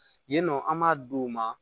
Yen nɔ an m'a d'u ma